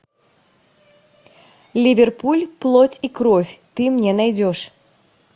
ливерпуль плоть и кровь ты мне найдешь